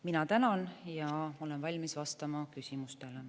Mina tänan ja olen valmis vastama küsimustele.